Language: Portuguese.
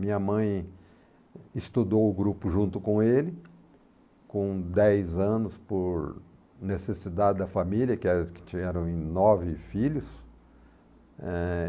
Minha mãe estudou o grupo junto com ele, com dez anos por necessidade da família, que é, que tinham eram em nove filhos. Eh...